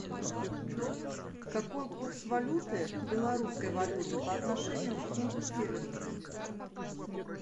какой курс валюты белорусской валюты по отношению к фунту стерлингов